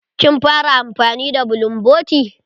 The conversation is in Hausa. Kin fara amfani da bulumboti?